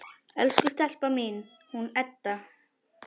Elsku stelpan mín, hún Edda!